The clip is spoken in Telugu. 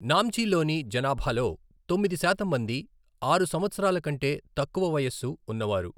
నామ్చిలోని జనాభాలో తొమ్మిది శాతం మంది ఆరు సంవత్సరాల కంటే తక్కువ వయస్సు ఉన్నవారు.